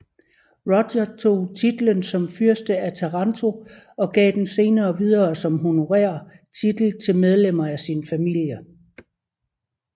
Roger tog titlen som fyrste af Taranto og gav den senere videre som honorær titel til medlemmer af sin familie